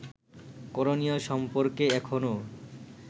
করণীয় সম্পর্কে এখনও